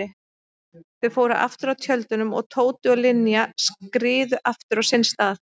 Þau fóru aftur að tjöldunum og Tóti og Linja skriðu aftur á sinn stað.